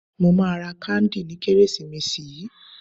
Mo máa ra káńdì ní Kérésìmesì yìí.